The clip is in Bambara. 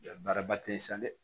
Baara ba tɛ yen sa dɛ